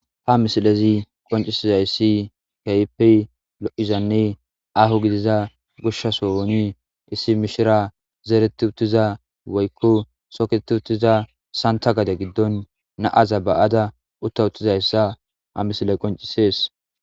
ha misilezi qoncisizaissi kayepi lo7izanne ahu gidiza gushshasoooni issi mishira zeereti uttiza woykku sokeetti uttiza santa gade giddon naaza ba7ada utta uttizayssa ha misile qoncisees